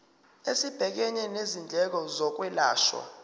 esibhekene nezindleko zokwelashwa